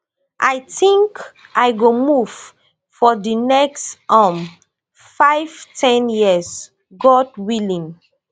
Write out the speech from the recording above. i think i go move for di next um five ten years god willing